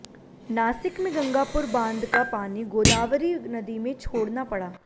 नासिक में गंगापुर बांध का पानी गोदावरी नदी में छोड़ना पड़ा